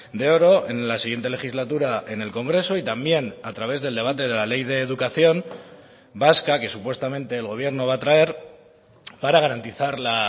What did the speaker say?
de oro en la siguiente legislatura en el congreso y también a través del debate de la ley de educación vasca que supuestamente el gobierno va a traer para garantizar la